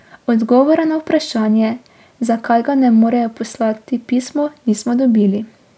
Odgovora na vprašanje, zakaj ga ne morejo poslati pisno nismo dobili.